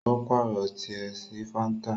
o paarọ tiẹ sí fanta.